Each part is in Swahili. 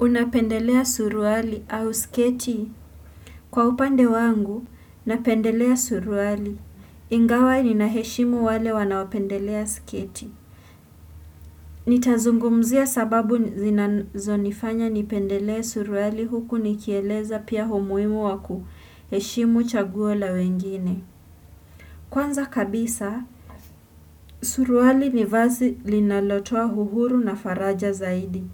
Unapendelea suruali au sketi? Kwa upande wangu, napendelea suruali. Ingawa ninaheshimu wale wanaopendelea sketi. Nitazungumzia sababu zinazo nifanya nipendelea suruali huku nikieleza pia humuimu wakuheshimu chaguola wengine. Kwanza kabisa, suruali ni vazi linalotoa huhuru na faraja zaidi.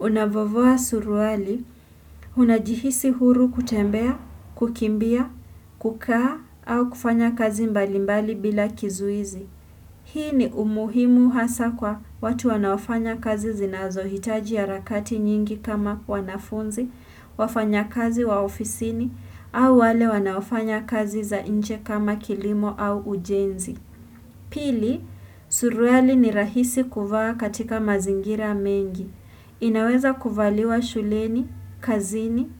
Unavovoa suruali, hunajihisi huru kutembea, kukimbia, kukaa, au kufanya kazi mbalimbali bila kizuizi. Hii ni umuhimu hasa kwa watu wanaofanya kazi zinazohitaji ya rakati nyingi kama wanafunzi, wafanya kazi wa ofisini, au wale wanaofanya kazi za inje kama kilimo au ujenzi. Pili, suruali ni rahisi kuvaa katika mazingira mengi. Inaweza kuvaliwa shuleni, kazini,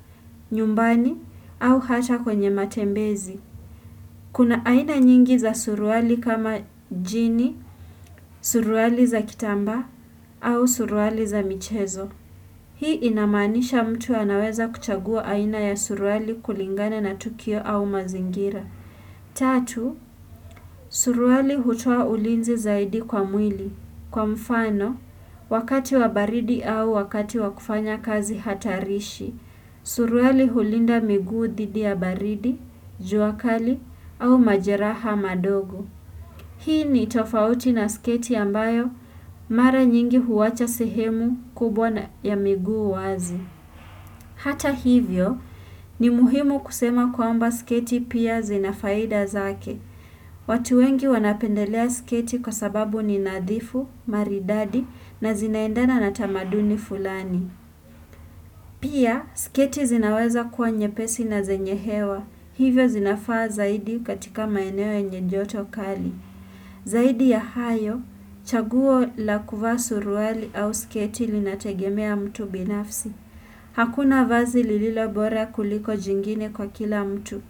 nyumbani au hata kwenye matembezi. Kuna aina nyingi za suruali kama jini, suruali za kitamba au suruali za michezo. Hii inamanisha mtu anaweza kuchagua aina ya suruali kulingana na tukio au mazingira. Tatu, suruali hutoa ulinzi zaidi kwa mwili. Kwa mfano, wakati wa baridi au wakati wa kufanya kazi hatarishi, suruali hulinda miguu dhidi ya baridi, juakali au majeraha madogo. Hii ni itofauti na sketi ambayo, mara nyingi huwacha sehemu kubwa na ya miguu wazi. Hata hivyo, ni muhimu kusema kwa amba sketi pia zinafaida zake. Watu wengi wanapendelea sketi kwa sababu ni nadhifu, maridadi na zinaendana natamaduni fulani. Pia, sketi zinaweza kuwa nye pesi na zenye hewa. Hivyo zinafaa zaidi katika maeneo nye joto kali. Zaidi ya hayo, chaguo la kuvaa suruali au sketi linategemea mtu binafsi. Hakuna vazi lililo bora kuliko jingine kwa kila mtu.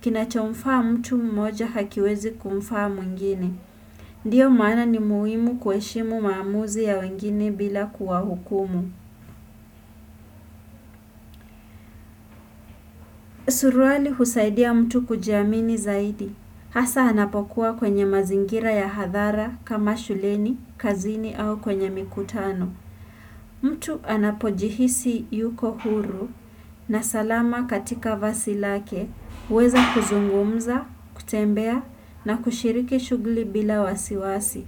Kina chomfaa mtu mmoja hakiwezi kumfaa mwingine Ndiyo maana ni muimu kueshimu maamuzi ya wengine bila kuwa hukumu Suruali husaidia mtu kujiamini zaidi Hasa anapokuwa kwenye mazingira ya hadhara kama shuleni, kazini au kwenye mikutano mtu anapojihisi yuko huru na salama katika vasilake weza kuzungumza, kutembea na kushiriki shuguli bila wasiwasi.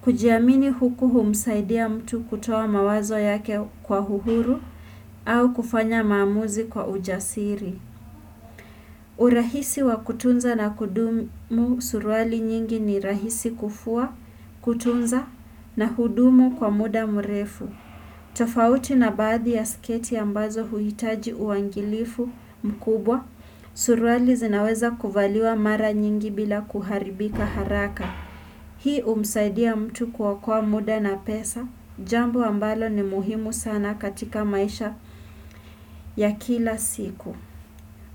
Kujiamini huku humsaidia mtu kutoa mawazo yake kwa huhuru au kufanya maamuzi kwa ujasiri. Urahisi wa kutunza na kudumu suruali nyingi ni rahisi kufua, kutunza na hudumu kwa muda mrefu. Tafauti na badhi ya sketi ambazo huitaji uangilifu mkubwa. Suruali zinaweza kuvaliwa mara nyingi bila kuharibika haraka Hii umsaidi ya mtu kuwa kuokoa muda na pesa Jambo ambalo ni muhimu sana katika maisha ya kila siku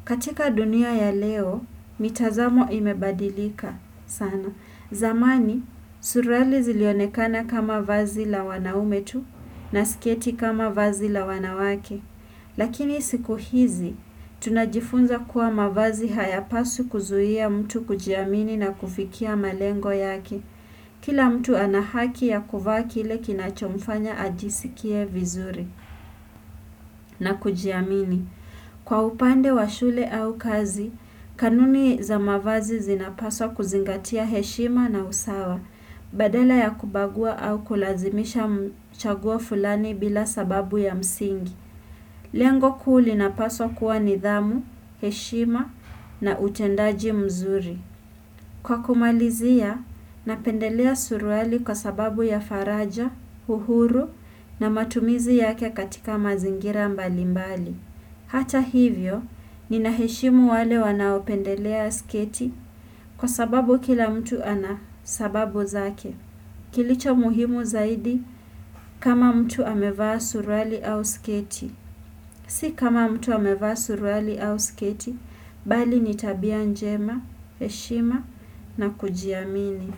katika dunia ya leo, mitazamo imebadilika sana zamani, surualii zilionekana kama vazi la wanaume tu na sketi kama vazi la wanawake Lakini siku hizi, tunajifunza kuwa mavazi hayapasu kuzuhia mtu kujiamini na kufikia malengo yake. Kila mtu anahaki ya kuvaakile kinachomfanya ajisikie vizuri na kujiamini. Kwa upande wa shule au kazi, kanuni za mavazi zinapaswa kuzingatia heshima na usawa, badala ya kubagua au kulazimisha mchaguo fulani bila sababu ya msingi. Lengo kuhuli na paswa kuwa nidhamu, heshima na utendaji mzuri. Kwa kumalizia, napendelea suruali kwa sababu ya faraja, uhuru na matumizi yake katika mazingira mbali mbali. Hata hivyo, ninaheshimu wale wanaopendelea sketi kwa sababu kila mtu ana sababu zake. Kilicho muhimu zaidi kama mtu amevaa suruali au sketi. Si kama mtu amevaa suruali au sketi, bali nitabia njema, heshima na kujiamini.